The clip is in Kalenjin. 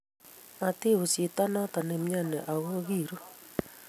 mati us chito noto ne imyoni aku kiruu